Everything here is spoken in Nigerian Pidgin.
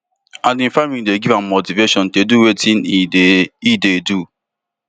and im family dey give am motivation to do wetin e dey e dey do